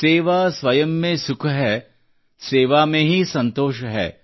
ಸೇವಾ ಸ್ವಯಂ ಮೇ ಸುಖ್ ಹೈ ಸೇವಾ ಮೇ ಹೀ ಸಂತೋಷ್ ಹೈ